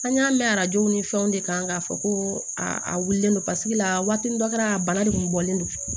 An y'a mɛn arajo ni fɛnw de kan k'a fɔ ko a wulilen don paseke laturu dɔ kɛra a bana de kun bɔlen don